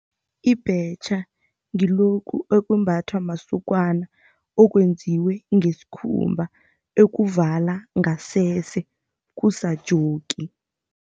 Ibhetjha ngilokhu okwembathwa masokana, okwenziwe ngesikhumba, ekuvala ngasese, kusa-jockey.